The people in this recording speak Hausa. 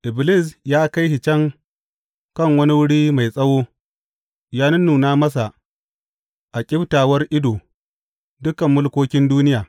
Iblis ya kai shi can kan wani wuri mai tsawo, ya nunnuna masa a ƙyiftawar ido dukan mulkokin duniya.